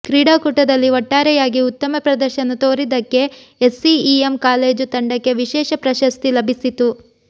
ಕ್ರೀಡಾಕೂಟದಲ್ಲಿ ಒಟ್ಟಾರೆಯಾಗಿ ಉತ್ತಮ ಪ್ರದರ್ಶನ ತೋರಿದ್ದಕ್ಕೆ ಎಸ್ಸಿಇಎಂ ಕಾಲೇಜು ತಂಡಕ್ಕೆ ವಿಶೇಷ ಪ್ರಶಸ್ತಿ ಲಭಿಸಿತು